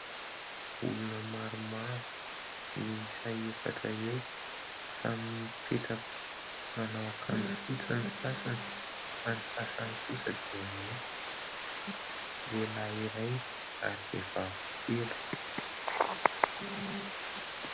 Olona maromaro miisa efatra eo. Samy mipetraka, manao akanjo fotsy ny sasany ; fa ny sasany kosa dia mainty. Lehilahy iray ary vehivavy telo.